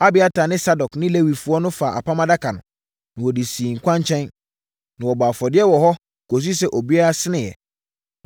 Abiatar ne Sadok ne Lewifoɔ no faa Apam Adaka no, na wɔde sii kwankyɛn. Na wɔbɔɔ afɔdeɛ wɔ hɔ kɔsii sɛ obiara seneeɛ.